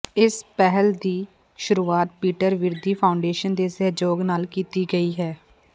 ਇਸ ਪਹਿਲ ਦੀ ਸ਼ੁਰੂਆਤ ਪੀਟਰ ਵਿਰਦੀ ਫਾਊਂਡੇਸ਼ਨ ਦੇ ਸਹਿਯੋਗ ਨਾਲ ਕੀਤੀ ਗਈ ਹੈ